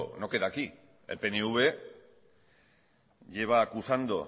no queda aquí el pnv lleva acusando